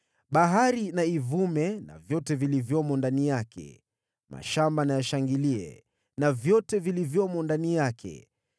Bahari na ivume, na vyote vilivyomo ndani yake; mashamba na yashangilie, na vyote vilivyomo ndani yake.